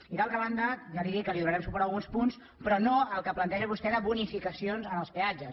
i d’altra banda ja li dic que li donarem suport a alguns punts però no al que planteja vostè de bonificacions en els peatges